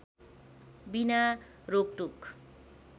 बिना रोकटोक